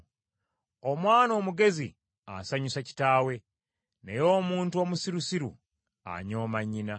Omwana omugezi asanyusa kitaawe, naye omuntu omusirusiru anyooma nnyina.